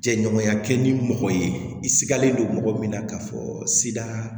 Jɛɲɔgɔnya kɛ ni mɔgɔ ye i sigalen don mɔgɔ min na k'a fɔ sida